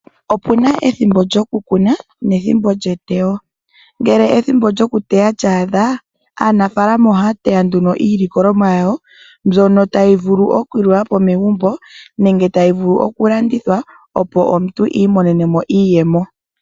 Opuna ethimbo lyo kukuna nethimbo lyeteyo. Ngele ethimbo lyokuteya lya adha aanafaalama ohaya teya nduno iilikolomwa yawo mbyono tayi vulu oku liwapo megumbo nenge tayi vulu oku landithwa opo omuntu i imonene mo iiyemo.